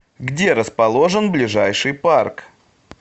где расположен ближайший парк